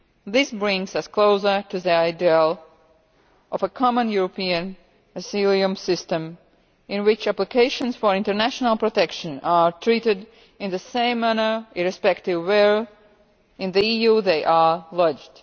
This brings us closer to the ideal of a Common European Asylum System in which applications for international protection are treated in the same manner irrespective of where in the EU they are